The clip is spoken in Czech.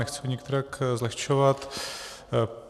Nechci ho nikterak zlehčovat.